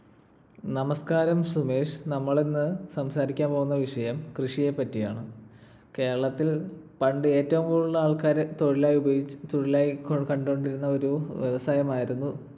നമസ്ക്കാരം സുമേഷ്. നമ്മൾ ഇന്ന് സംസാരിക്കാൻ പോകുന്ന വിഷയം കൃഷിയെപറ്റിയാണ്‌. കേരളത്തിൽ പണ്ട് ഏറ്റവും കൂടുതൽ ആൾക്കാർ തൊഴിലായി ഉപ ~ തൊഴിലായി കണ്ടുകൊണ്ടിരുന്ന ഒരു വ്യവസായമായിരുന്നു